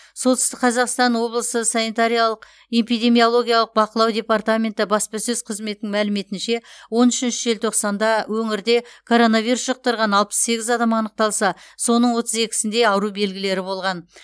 солтүстік қазақстан облысы санитариялық эпидемиологиялық бақылау департаменті баспасөз қызметінің мәліметінше он үшінші желтоқсанда өңірде коронавирус жұқтырған алпыс сегіз адам анықталса соның отыз екісінде ауру белгілері болған